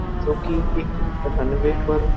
जो कि एक रनवे पर --